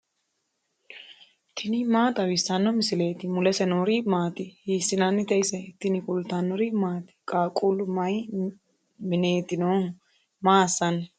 tini maa xawissanno misileeti ? mulese noori maati ? hiissinannite ise ? tini kultannori maati? qaaqullu mayi mineetti noohu? maa assanni?